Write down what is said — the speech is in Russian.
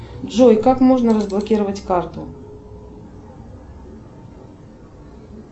джой как можно разблокировать карту